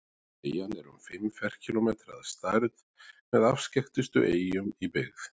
Eyjan er um fimm ferkílómetrar að stærð og með afskekktustu eyjum í byggð.